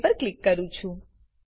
okay પર click કરું